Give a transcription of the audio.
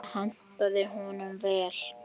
Það hentaði honum vel.